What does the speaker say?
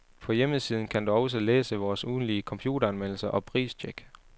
På hjemmesiden kan du også læse vore ugentlige computeranmeldelser og pristjek.